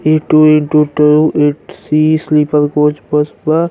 इ टू एक दू टो ए.सी स्लिपर कोच बस बा।